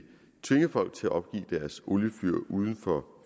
tvinge folk til at opgive deres oliefyr uden for